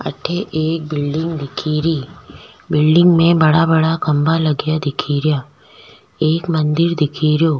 अठे एक बिल्डिंग दिखेरी बिल्डिंग में बड़ा बड़ा खम्भा लगिया दिखेरा एक मंदिर दिखेरो।